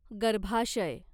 गर्भाशय